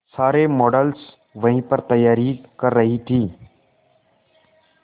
सारे मॉडल्स वहीं पर तैयारी कर रही थी